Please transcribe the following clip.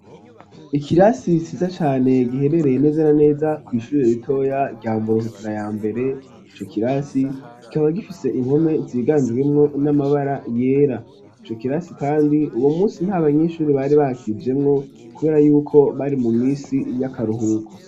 Ikirasi ciza cane giherereye neza na neza kwi ishure ritoya rya muhutira ya mbere icokirasi kikaba gifise impome ziganjwemo n'amabara yera ico kirasi kandi uwo munsi nta banyeshuri bari bakijemo kubera yuko bari mu misi y'akaruhuko